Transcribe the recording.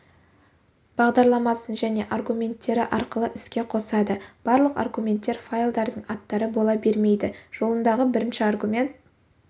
бағдарламасын және аргументтері арқылы іске қосады барлық аргументтер файлдардың аттары бола бермейді жолындағы бірінші аргумент